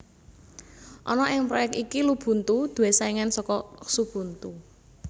Ana ing proyek iki Lubuntu duwé saingan saka Xubuntu